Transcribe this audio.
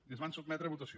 i es van sotmetre a votació